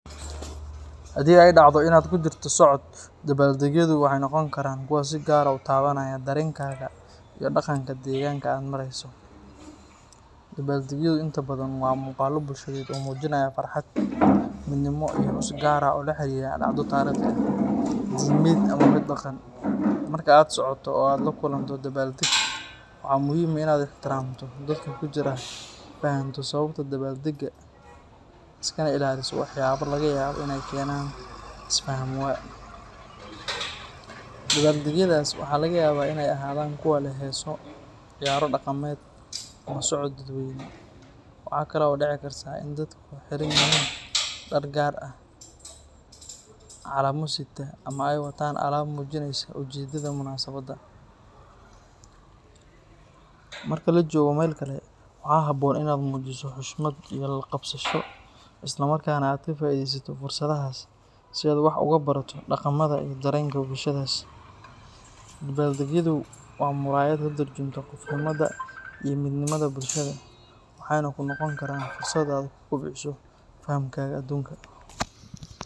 Haddii ay dhacdo in aad kujirto socod, dabbaal-degyadu waxay noqon karaan kuwo si gaar ah u taabanaya dareenkaaga iyo dhaqanka deegaanka aad marayso. Dabbaal-degyadu inta badan waa muuqaallo bulsheed oo muujinaya farxad, midnimo, iyo xus gaar ah oo la xiriira dhacdo taariikhi ah, diimeed, ama mid dhaqan. Marka aad socoto oo aad la kulanto dabbaal-deg, waxaa muhiim ah in aad ixtiraamto dadka ku jira, fahanto sababta dabbaal-degga, iskana ilaaliso waxyaabo laga yaabo in ay keenaan is-fahamwaa. Dabbaal-degyadaas waxaa laga yaabaa in ay ahaadaan kuwa leh heeso, ciyaaro dhaqameed, ama socod dadweyne. Waxa kale oo dhici karta in dadku xiran yihiin dhar gaar ah, calamo sita, ama ay wataan alaab muujinaysa ujeeddada munaasabadda. Marka la joogo meel kale, waxaa habboon in aad muujiso xushmad iyo la-qabsasho, isla markaana aad ka faa’iidaysato fursaddaas si aad wax uga barato dhaqamada iyo dareenka bulshadaas. Dabbaal-degyadu waa muraayad ka tarjunta qofnimada iyo midnimada bulshada, waxayna kuu noqon karaan fursad aad ku kobciso fahamkaaga aduunka.